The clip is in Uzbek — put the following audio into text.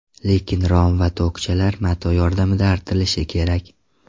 Lekin rom va tokchalar mato yordamida artilishi kerak.